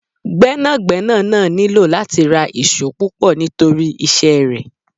Gbẹ́nàgbẹ́nà náà nílò láti ra ìṣó púpọ̀ nítorí iṣẹ́ rẹ.